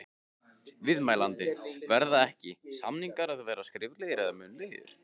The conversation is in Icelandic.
Viðmælandi: Verða ekki, samningar að vera skriflegir eða munnlegir?